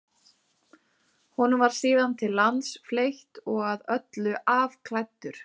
Honum var síðan til lands fleytt og að öllu afklæddur.